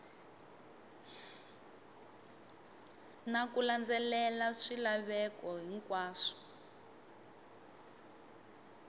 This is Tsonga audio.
na ku landzelela swilaveko hinkwaswo